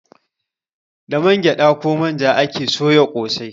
Da man gyada ko manja ake soya kosai